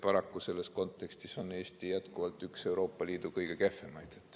Paraku selles kontekstis on Eesti jätkuvalt üks Euroopa Liidu kõige kehvemaid.